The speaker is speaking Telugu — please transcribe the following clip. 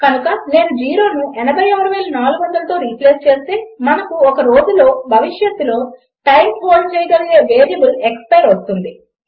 కనుక నేను జీరోను 86400తో రిప్లేస్ చేస్తే మనకు ఒక రోజుతో భవిష్యత్తులో టైమ్ హోల్డ్ చేయగలిగే వేరియబుల్ ఎక్స్పైర్ వస్తుంది